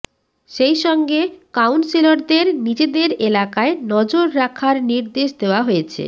সেইসঙ্গে কাউন্সিলরদের নিজেদের এলাকায় নজর রাখার নির্দেশ দেওয়া হয়েছে